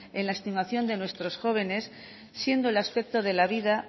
en la estimación de nuestros jóvenes siendo el aspecto de la vida